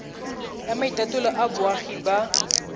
ya maitatolo a boagi ba